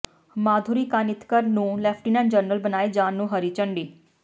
ਮਾਧੁਰੀ ਕਾਨਿਤਕਰ ਨੂੰ lieutenant general ਬਣਾਏ ਜਾਣ ਨੂੰ ਹਰੀ ਝੰਡੀ